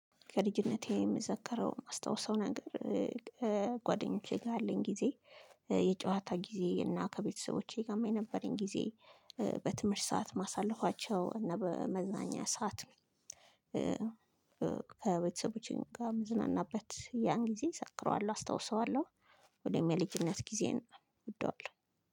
ከልጅነቴ የምዘከረው የማስታውሰው ነገር ክጓደኞቼ ጋር ያለኝ ጊዜ የጨዋታ ጊዜ እና ከቤተሰቦቼ ጋርም የነበረኝ ጊዜ በትምህርት ሰዓት ማሳለፋቸው እና በመዝናኛ ሰዓት ከቤተሰቦቼም ጋር የምዝናናበት ያን ጊዜ እዘክረዋልው አስታውሰዋለሁ። ሁሌም የልጅነት ጊዜየን እወደዋለሁ